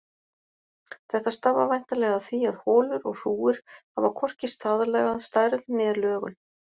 Þetta stafar væntanlega af því að holur og hrúgur hafa hvorki staðlaða stærð né lögun.